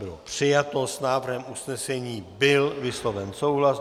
Bylo přijato, s návrhem usnesení byl vysloven souhlas.